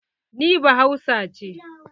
Ni ba hausa ce.